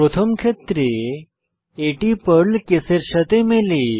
প্রথম ক্ষেত্রে এটি পার্ল কেসের সাথে মেলে